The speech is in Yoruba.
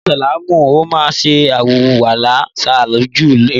Ni ìsláàmù, ó máa ṣe àlùwàlá ṣáájú ìrun.